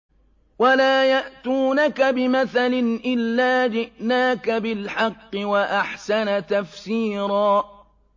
وَلَا يَأْتُونَكَ بِمَثَلٍ إِلَّا جِئْنَاكَ بِالْحَقِّ وَأَحْسَنَ تَفْسِيرًا